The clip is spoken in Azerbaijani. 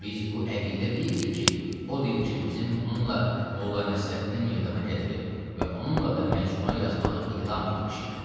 Biz bu əqidə deyilik ki, o dil ki bizim onunla Molla Nəsrəddini meydana gətirib və onunla da məcmuə yazmağı iqdam etmişik.